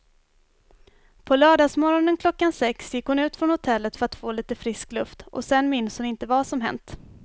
På lördagsmorgonen klockan sex gick hon ut från hotellet för att få lite frisk luft och sen minns hon inte vad som hänt.